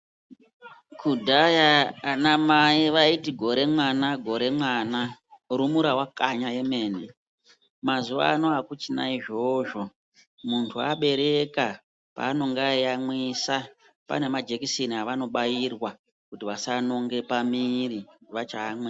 Kudhaya ana mai vayiti gore mwana gore mwana orumura vakanya yemene mazuva ano akuchina izvozvo muntu abereka pa anonga eyi yamwisa pane majekiseni avano bairwa kuti vasa nonge pamwiri vacha yamwisa.